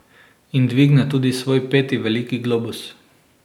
In dvigne tudi svoj peti veliki globus.